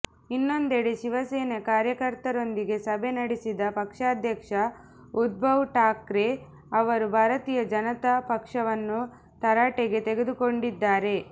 ಇನ್ನೊಂದೆಡೆ ಶಿವಸೇನಾ ಕಾರ್ಯಕರ್ತರೊಂದಿಗೆ ಸಭೆ ನಡೆಸಿದ ಪಕ್ಷಾಧ್ಯಕ್ಷ ಉದ್ಭವ್ ಠಾಕ್ರೆ ಅವರು ಭಾರತೀಯ ಜನತಾ ಪಕ್ಷವನ್ನು ತರಾಟೆಗೆ ತೆಗೆದುಕೊಂಡಿದ್ದಾರೆ